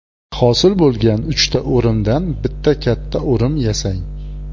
Hosil bo‘lgan uchta o‘rimdan bitta katta o‘rim yasang.